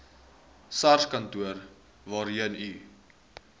sarskantoor waarheen u